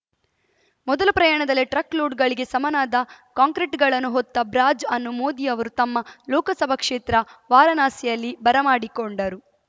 ಮೊದಲ ಪ್ರಯಾಣದಲ್ಲಿ ಟ್ರಕ್‌ ಲೋಡ್‌ಗಳಿಗೆ ಸಮನಾದ ಕಾಂಕ್ರೆಟ್ ಗಳನ್ನು ಹೊತ್ತ ಬ್ರಾಜ್ ಅನ್ನು ಮೋದಿ ಅವರು ತಮ್ಮ ಲೋಕಸಭಾ ಕ್ಷೇತ್ರ ವಾರಾಣಸಿಯಲ್ಲಿ ಬರಮಾಡಿಕೊಂಡರು